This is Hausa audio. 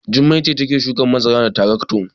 Jummai ce take shukan masara da tarakto.